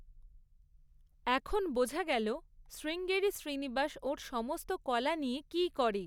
এখন বোঝা গেল শ্রীঙ্গেরি শ্রীনিবাস ওর সমস্ত কলা নিয়ে কী করে।